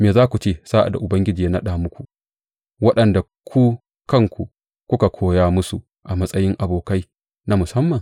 Me za ku ce sa’ad da Ubangiji ya naɗa muku waɗanda ku kanku kuka koya musu a matsayi abokai na musamman?